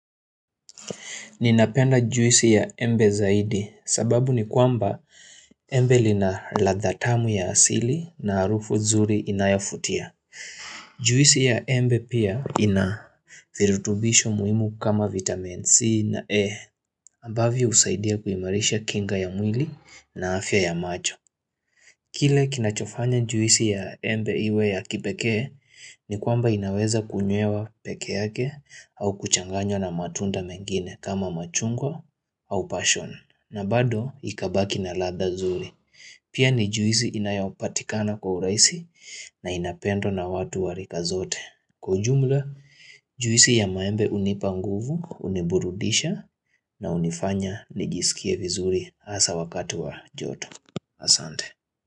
Ninapenda juisi ya embe zaidi sababu ni kwamba embe lina ladha tamu ya asili na harufu nzuri inayavutia. Juisi ya embe pia inavirutubisho muhimu kama vitamin C na E. Ambavyo husaidia kuimarisha kinga ya mwili na afya ya macho. Kile kinachofanya juisi ya embe iwe ya kipekee ni kwamba inaweza kunywewa pekee yake au kuchanganywa na matunda mengine kama machungwa au passion na bado ikabaki na ladhaa zuri. Pia ni juisi inayopatikana kwa urahisi na inapendwa na watu warika zote. Kwa ujumla juisi ya maembe hunipa nguvu, huniburudisha na hunifanya nijisikie vizuri hasa wakati wa joto. Asante.